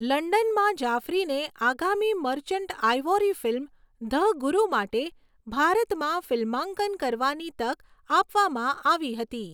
લંડનમાં, જાફરીને આગામી Merchant Ivory film 'the Guru' માટે ભારતમાં ફિલ્માંકન કરવાની તક આપવામાં આવી હતી.